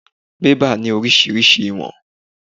Bẹ́bà ni oríṣiríṣi ìwọ̀n.